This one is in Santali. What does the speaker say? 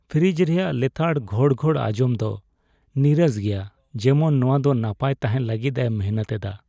ᱯᱷᱨᱤᱡᱽ ᱨᱮᱭᱟᱜ ᱞᱮᱛᱟᱲ ᱜᱷᱚᱲᱜᱷᱚᱲ ᱟᱸᱡᱚᱢ ᱫᱚ ᱱᱤᱨᱟᱥ ᱜᱮᱭᱟ, ᱡᱮᱢᱚᱱ ᱱᱚᱣᱟ ᱫᱚ ᱱᱟᱯᱟᱭ ᱛᱟᱦᱮᱱ ᱞᱟᱹᱜᱤᱫᱼᱮ ᱢᱤᱱᱦᱟᱹᱛ ᱮᱫᱟ ᱾